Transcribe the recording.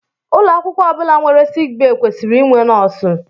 Ụlọ akwụkwọ ọ bụla nwere sickbay kwesịrị inwe nọọsụ